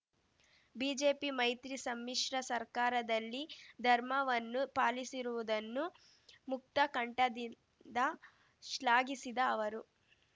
BJP ಮೈತ್ರಿ ಸಮ್ಮಿಶ್ರ ಸರ್ಕಾರದಲ್ಲಿ ಧರ್ಮವನ್ನು ಪಾಲಿಸಿರುವುದನ್ನು ಮುಕ್ತ ಕಂಠದಿಂದ ಶ್ಲಾಘಿಸಿದ ಅವರು